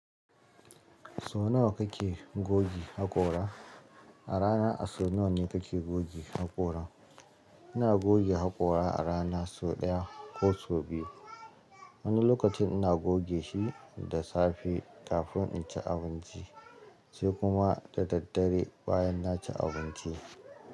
So nawa kake goge hakora a rana? A rana a so nawa ne kake goge hakora? Ina goge hakora a rana sau ɗaya ko sau biyu. Wani lokacin ina goge shi da safe kafin in ci abinci sai kuma da daddare bayan na ci abinci.